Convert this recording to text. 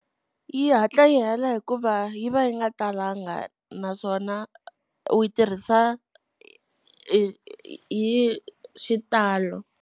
Yi hatla yi hela hikuva yi va yi nga talanga, naswona u yi tirhisa hi xitalo.